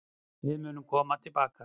Við komum tilbaka.